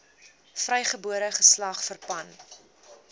vrygebore geslag verpand